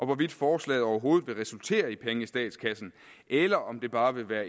hvorvidt forslaget overhovedet vil resultere i penge i statskassen eller om det bare vil være